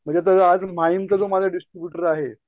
म्हणजे आता आज माईन्डचा जो माझा डिस्ट्रिब्युटर आहे.